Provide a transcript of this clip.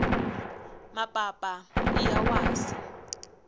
mapapa iya wasi